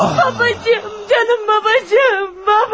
Babacığım, canım babacığım, baba!